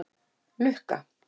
Lukka